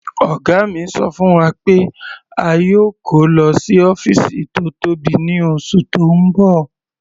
Ọ̀gá mi ṣọ fún wa pé a yóò kó lọ sí ọ́fìsì tó tóbi ní oṣù tó ń bọ̀.